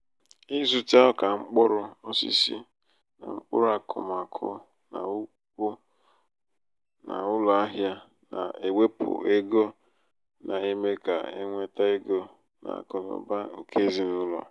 ịzụta ọka mkpụrụ osisi na mkpụrụ akụmakụ n'ùkwù n'ụlọ ahịa na-ewepụ ego na-eme ka enweta ego n'akụnaụba nke ezinaụlọ.